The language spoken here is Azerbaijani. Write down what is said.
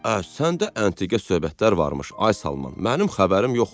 "Ə səndə əntiqə söhbətlər varmış, ay Salman, mənim xəbərim yox."